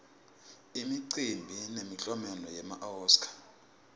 imicimbi yemiklomelo wema oscar